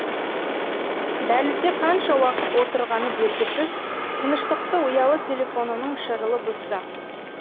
дәлізде қанша уақыт отырғаны белгісіз тыныштықты ұялы телефонының шырылы бұзды